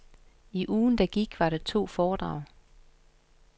I ugen der gik var der to foredrag.